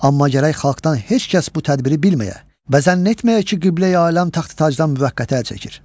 Amma gərək xalqdan heç kəs bu tədbiri bilməyə və zənn etməyə ki, Qibləyi aləm taxt-tacdan müvəqqəti əl çəkir.